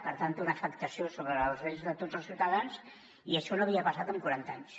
per tant té una afectació sobre els drets de tots els ciutadans i això no havia passat en quaranta anys